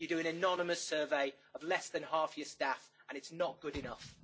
You do an anonymous survey of less than half your staff and it is not good enough!